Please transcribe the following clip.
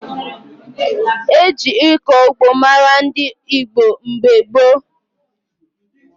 E ji ịkọ ugbo mara ndị Igbo mgbe gboo.